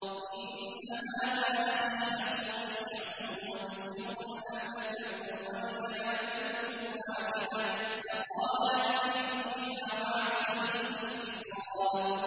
إِنَّ هَٰذَا أَخِي لَهُ تِسْعٌ وَتِسْعُونَ نَعْجَةً وَلِيَ نَعْجَةٌ وَاحِدَةٌ فَقَالَ أَكْفِلْنِيهَا وَعَزَّنِي فِي الْخِطَابِ